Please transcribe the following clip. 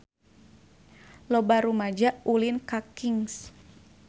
Loba rumaja ulin ka Kings